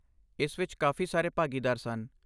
ਇਸ ਵਿੱਚ ਕਾਫ਼ੀ ਸਾਰੇ ਭਾਗੀਦਾਰ ਸਨ।